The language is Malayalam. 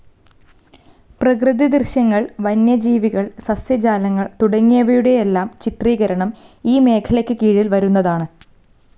പ്രകൃതി ദൃശ്യങ്ങൾ, വന്യജീവികൾ, സസ്യജാലങ്ങൾ തുടങ്ങിയവയുടെയെല്ലാം ചിത്രീകരണം ഈ മേഖലയ്ക്ക് കീഴിൽ വരുന്നതാണ്.